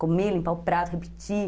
Comer, limpar o prato, repetir.